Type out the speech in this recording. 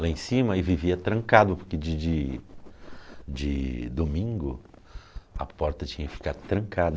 Lá em cima e vivia trancado, porque de dia de domingo a porta tinha que ficar